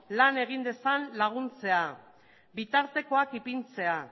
lan egin dezan laguntzea bitartekoak ipintzea